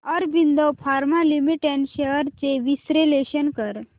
Aurobindo pharma limited shares चे विश्लेषण कर